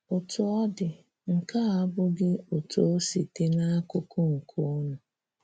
Otu ọdi, nke a abụghị otú o si dị n’akụkụ nke unu.